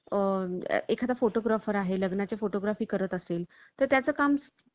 अख्या सगळ्यांनसाठी तेवढंच आवश्यक आहे आणि फक्त काम काम न करता प्रत्येकाने थोडं स्वःसाठी हसन स्वतः fresh राहणं स्वःताची मनस्थिती व्यवस्तीत ठेवणे